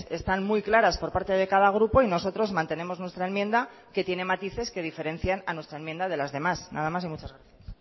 están muy claras por parte de cada grupo y nosotros mantenemos nuestra enmienda que tiene matices que diferencian a nuestra enmienda de las demás nada más y muchas gracias